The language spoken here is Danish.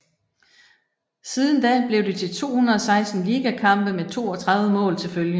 Siden da blev det til 216 ligakampe med 32 mål til følge